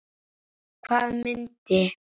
Hvaða mynd?